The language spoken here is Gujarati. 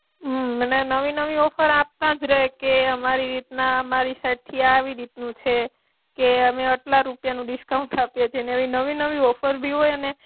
મને નવી નવી ઓફર આપતાજ રહે, કે અમારી રીતના અમારી સાઈડથી આવી રીતનું છે. કે અમે એટલા રૂપિયાનું ડિસ્કાઉન્ટ આપીએ છે, નવી નવી ઓફરભી હોય અને